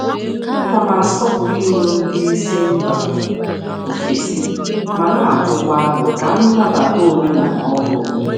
Ana m akwanyere iwu ndị oga si mba ọzọ ùgwù mana m na-atụkwa aro ụzọ iji nabata omenala ọrụ obodo.